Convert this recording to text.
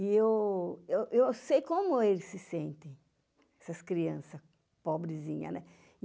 E eu eu eu sei como eles se sentem, essas criança pobrezinha, né?